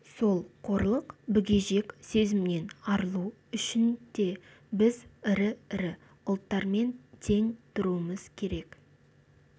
сол қорлық бүгежек сезімнен арылу үшін де біз ірі-ірі ұлттармен тең тұруымыз керек